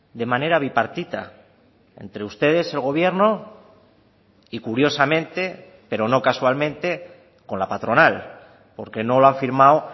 de manera bipartita entre ustedes el gobierno y curiosamente pero no casualmente con la patronal porque no lo ha firmado